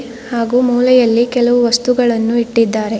ಹಾಗು ಮೂಲೆಯಲ್ಲಿ ಕೆಲವು ವಸ್ತುಗಳನ್ನು ಇಟ್ಟಿದ್ದಾರೆ.